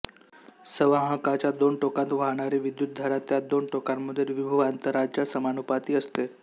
संवाहकाच्या दोन टोकांत वाहणारी विद्युतधारा त्या दोन टोकांमधील विभवांतराच्या समानुपाती असते